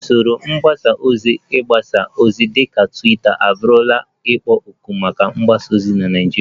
Usoro mgbasa ozi mgbasa ozi dịka Twitter abụrụla ikpo okwu maka ịgbasa ozi na Naịjirịa